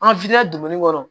An donni kɔrɔ